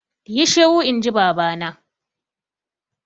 Yi shiru inji baba na!